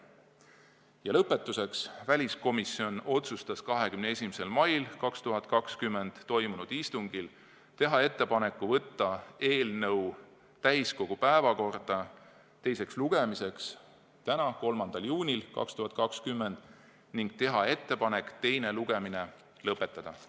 Ja lõpetuseks: väliskomisjon otsustas 21. mail 2020 toimunud istungil teha ettepaneku võtta eelnõu täiskogu päevakorda teiseks lugemiseks tänaseks, 3. juuniks ning teha ettepaneku teine lugemine lõpetada.